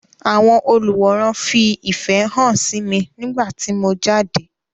Àwọn olùwòran fi ìfẹ hàn sí mi nígbà tí mo jáde.